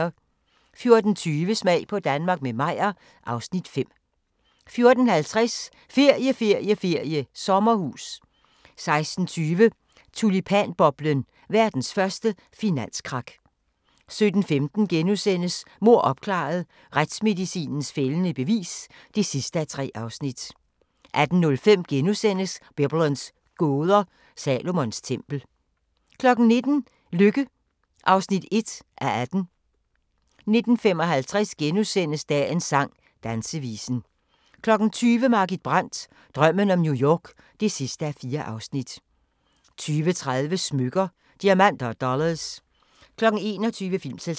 14:20: Smag på Danmark – med Meyer (Afs. 5) 14:50: Ferie, ferie, ferie: Sommerhus 16:20: Tulipanboblen – verdens første finanskrak 17:15: Mord opklaret – Retsmedicinens fældende bevis (3:3)* 18:05: Biblens gåder – Salomons tempel * 19:00: Lykke (1:18) 19:55: Dagens sang: Dansevisen * 20:00: Margit Brandt – Drømmen om New York (4:4) 20:30: Smykker – Diamanter & Dollars 21:00: Filmselskabet